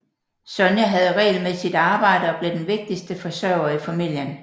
Sonya havde regelmæssigt arbejde og blev den vigtigste forsørger i familien